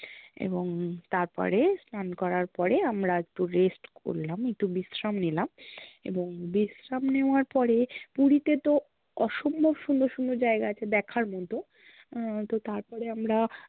এবং তারপরে, স্নান করার পরে আমরা একটু rest করলাম, একটু বিশ্রাম নিলাম এবং বিশ্রাম নেওয়ার পরে পুরিতে তো অসম্ভব সুন্দর সুন্দর জায়গা আছে দেখার মতো, আহ তো তারপরে আমরা